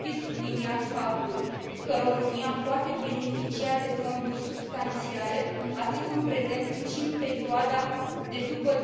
Trebuie subliniat faptul că România poate beneficia de fonduri substanțiale, atât în prezent, cât și în perioada de după